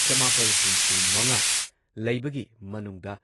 ꯆꯃꯥꯄꯜ ꯍꯨꯝꯐꯨꯃꯉꯥ ꯂꯩꯕꯒꯤ ꯃꯅꯨꯡꯗ